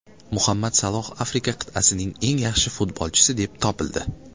Muhammad Saloh Afrika qit’asining eng yaxshi futbolchisi deb topildi.